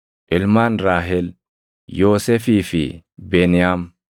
Ilmaan Raahel: Yoosefii fi Beniyaam.